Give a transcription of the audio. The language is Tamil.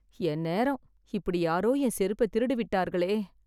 என் நேரம்.. இப்படி யாரோ என் செருப்பை திருடிவிட்டார்களே!